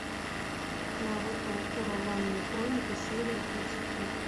наруто ураганные хроники серия тридцать пять